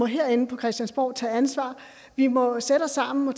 herinde på christiansborg må tage ansvar vi må sætte os sammen og